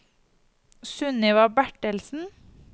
Sunniva Bertelsen